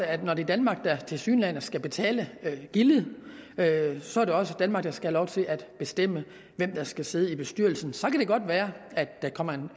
at når det er danmark der tilsyneladende skal betale gildet så er det også danmark der skal have lov til at bestemme hvem der skal sidde i bestyrelsen så kan det godt være